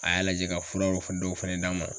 A y'a lajɛ ka furaw dɔw fɛnɛ d'an ma.